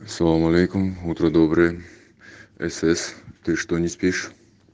салам алейкум утро доброе эсес ты что не спишь